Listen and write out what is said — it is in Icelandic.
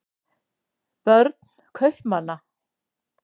börn kaupmanna